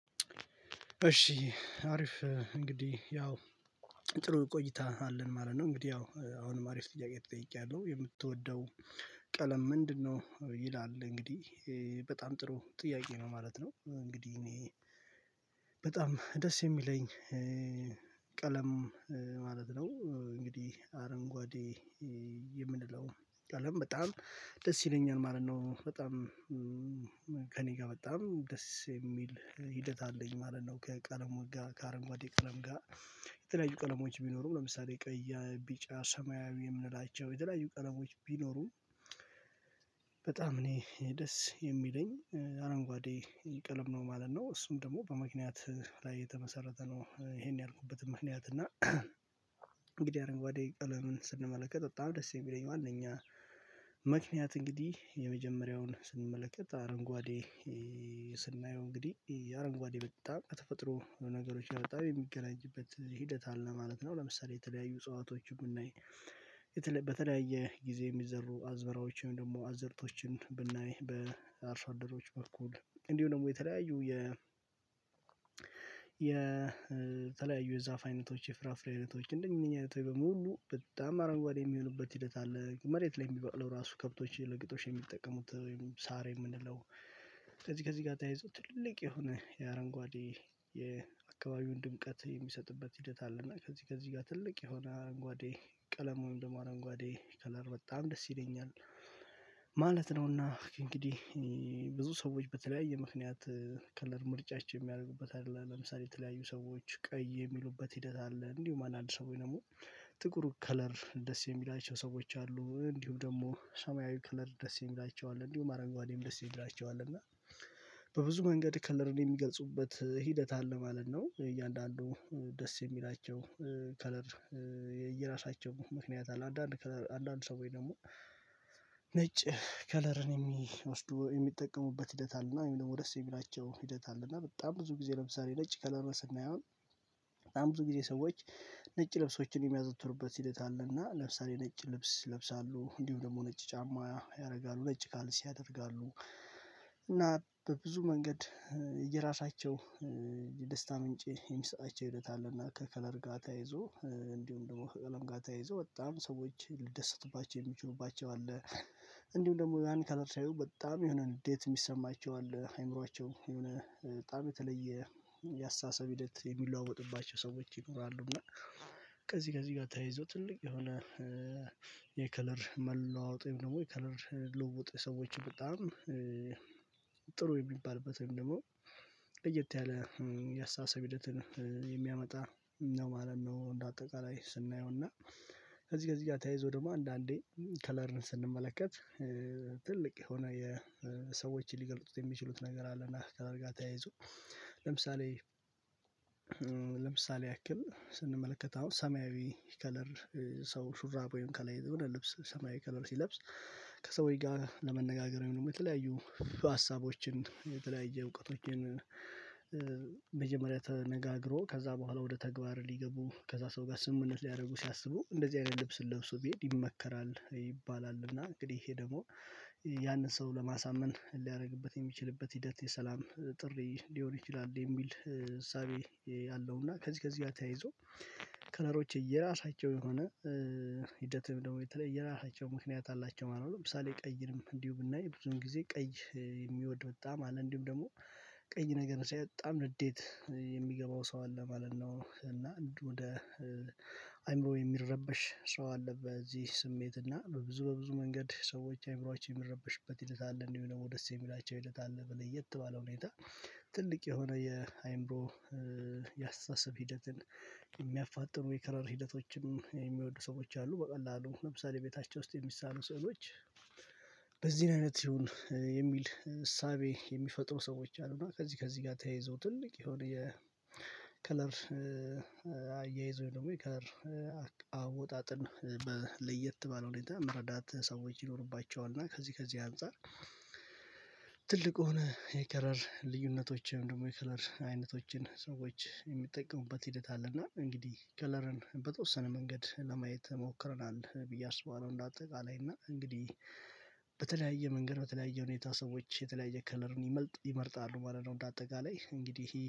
እሺ አሪፍ እንግዲህ ያው ጥሩ ቆይታ አለን ማለት ነው። እንግዲህ ያው አሁንም አሪፍ ጥያቄ ተጠይቄያለሁ የምትወደው ቀለም ምንድነው ይላል እንግዲህ በጣም ጥሩ ጥያቄ ነው ማለት ነው። እንግዲህ እኔ በጣም ደስ የሚለኝ ቀለም ማለት ነው እንግዲህ አረንጓዴ የምንለው ቀለም በጣም ደስ ይለኛል ማለት ነው። በጣም ከእኔ ጋር በጣም ደስ የሚል ሂደት አለኝ ማለት ነው ከቀለም ጋ ከአረንጓዴ ቀለም ጋ። የተለያዩ ቀለሞች ቢኖሩም ለምሳሌ ቀያ ቢጫ ሰማያዊ የምንላቸው የተለያዩ ቀለሞች ቢኖሩም በጣም እኔ ደስ የሚለኝ አረንጓዴ ቀለም ነው ማለት ነው። እሱም ደግሞ በምክንያት ላይ የተመሰረተ ነው ይሄን ያልኩበት ምክንያት እና እንግዲህ አረንጓዴ ቀለምን ስንመለከት በጣም ደስ የሚለኝ ዋናኛ ምክንያት እንግዲህ የመጀመሪያውን ስንመለከት አረንጓዴ ስናየው እንግዲህ አረንጓዴ በጣም ከተፈጥሮ ነገሮች በጣም የሚገናኝበት ሂደት አለ ማለት ነው። ለምሳሌ የተለያዩ እጽዋቶችን ብናይ በተለያየ ጊዜ የሚዘሩ አዝበራዎችን ደግሞ አዝርቶችን ብናይ በአርሶ አደሮች በኩል እንዲሁ ደግሞ የተለያዩ የ የተለያዩ የዛፍ አይነቶች የፍራፍሬ አይነቶች በሙሉ በጣም አረንጓዴ የሚሆንበት ሂደት አለ። መሬት ላይ የሚባቅለው ራሱ ከብቶች ለቅጦሽ የሚጠቀሙት ወይም ሳር የምንለው ከዚህ ከዚህ ጋር ታያይዞ ትልቅ የሆነ የአረንጓዴ የአካባቢውን ድምቀት የሚሰጥበት ሂደት አለ እና ከዚህ ከዚህ ጋር ትልቅ የሆነ አረንጓዴ ቀለም ወይም ደግሞ አረንጓዴ ከለር በጣም ደስ ይለኛል። ማለት ነውና እንግዲህ ብዙ ሰዎች በተለያየ ምክንያት ከለር ምርጫችን የሚያረጉበት አለ። ለምሳሌ የተለያዩ ሰዎች ቀይ የሚሉበት ሂደት አለ። እንዲሁም አንድ አንድ ሰዎች ደግሞ ጥቁሩ ከለር ደስ የሚላቸው ሰዎች አሉ። እንዲሁም ደግሞ ሰማያዊ ከለር ደስ የሚላቸው አለ። እንዲሁም አረንጓዴም ደስ የሚላቸው አለ እና በብዙ መንገድ ክለርን የሚገልጹበት ሂደት አለ ማለት ነው። እያንዳንዱ ደስ የሚላቸው ከለር የየራሳቸው ምክንያት አለ። አንዳንድ ከለር አንዳንድ ሰዎይ ደግሞ ነጭ ከለርን የሚወስዱ የሚጠቀሙበት ሂደት አለ እና ወይ ደግሞ ደስ የሚላቸው ሂደት አለና በጣም ብዙ ጊዜ ለምሳሌ ነጭ ከለሩን ስናያው በጣም ብዙ ጊዜ ሰዎች ነጭ ልብሶችን የሚያዘወትሩበት ሂደት አለና ለምሳሌ ነጭ ልብስ ለብሳለሁ። እንዲሁም ደግሞ ነጭ ጫማ ያደርጋሉ። ነጭ ካልሲ ያደርጋሉ። እና በብዙ መንገድ የራሳቸው የደስታ ምንጭ የሚሰጣቸው ሂደት አለና ከከለር ጋር ተያይዞ እንዲሁም ደግሞ አለም ጋር ተያይዞ በጣም ሰዎች ልደሰትባቸው የሚችሉባቸው አለ። እንዲሁም ደግሞ ያን ከለር ስያዩ በጣም የሆነ እንዴት የሚሰማቸው አለ። አይምሮአቸው የሆነ ጣም የተለየ ያሳሰብ ሂደት የሚለዋወጥባቸው ሰዎች ይኖራሉ እና ከዚህ ከዚህ ጋ ተያይዞ ትልቅ የሆነ የከለር መለዋወጥም ደግሞ የከለር ልውውጥ ሰዎችን በጣም ጥሩ የሚባልበትን ደግሞ ለየት ያለ የአስተሳሰብ ሂደትን የሚያመጣ ነው ማለት ነው። እንደ አጠቃላይ ስናየው እና ከዚህ ከዚህ ጋ ተያይዞ ደግሞ አንዳንዴ ከለርን ስንመለከት ትልቅ የሆነ የሰዎችን ሊገልጡት የሚችሉት ነገር አለና ከከለር ጋ ተያይዞ ለምሳሌ ለምሳሌ ያክል ስንመለከት አሁን ሰማያዊ ከለር ሰው ሹራብ ወይም ከላይ የሆነ ልብስ ሰማያዊ ከለር ሲለብስ ከሰውዬ ጋ ለመነጋገር ወይንም የተለያዩ ሀሳቦችን የተለያየ እውቀቶችን መጀመሪያ ተነጋግሮ ከዛ በኋላ ወደ ተግባር ሊገቡ ከዛ ሰው ጋር ስምምነት ሊያደርጉ ሲያስቡ እንደዚህ አይነት ልብስን ለብሶ ቢሄድ ይመከራል ይባላል እና እንግዲህ ይሄ ደግሞ ያንን ሰው ለማሳመን ሊያደርግበት የሚችልበት ሂደት የሰላም ጥሪ ሊሆን ይችላል የሚል እሳቤ ያለው እና ከዚህ ከዚህ ጋር ተያይዞ ከለሮች የየራሳቸው የሆነ ሂደትም ደግሞ የተለየ የራሳቸው ምክንያት አላቸው ማለት ነው። ለምሳሌ ቀይንም እንዲሁ ብናይ ብዙም ጊዜ ቀይ የሚወድ በጣም አለ። እንዲሁም ደግሞ ቀይ ነገር ሳይ በጣም ንዴት የሚገባው ሰው አለ ማለት ነው እና ወደ አእምሮ የሚረበሽ ሰው አለ በዚህ ስሜት እና በብዙ በብዙ መንገድ ሰዎች አእምሮአችን የሚረበሽበት ሂደት አለ። እንደውም ድግሞ ደስ የሚላቸው ሂደት አለ። በለየት ባለ ሁኔታ ትልቅ የሆነ የአእምሮ የአስተሳሰብ ሂደትን የሚያፋጥኑ የከለር ሂደቶችም የሚወዱ ሰዎች አሉ። በቀላሉ ለምሳሌ ቤታቸው ውስጥ የሚሳሉ ስዕሎች በዚህን አይነት ይሁን የሚል እሳቤ የሚፈጥሩ ሰዎች አሉ እና ከዚህ ከዚህ ጋር ተያይዞ ትልቅ የሆነ የከለር አያይዞ ደግሞ የከለር አወጣጥን በለየት ባለ ሁኔታ መረዳት ሰዎች ይኖርባቸዋል እና ከዚህ ከዚህ አንፃር ትልቁን የከረር ልዩነቶችን ደግሞ የከለር አይነቶችን ሰዎች የሚጠቀሙበት ሂደት አለ እና እንግዲህ ከለርን በተወሰነ መንገድ ለማየት ሞክረናል ብዬ አስባለሁ እንደ አጠቃላይ እና እንግዲህ በተለያየ መንገድ በተለያየ ሁኔታ ሰዎች የተለያየ ከለርን ይመልጥ ይመርጣሉ ማለት ነው እንደ አጠቃላይ እንግዲህ